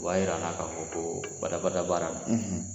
O b'a yira an na ka fɔ ko bada-bada baara ,